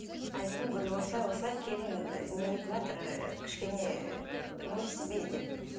айттым говорю осылай осылай келін ыыы нетіватыр кішкене не в себе деп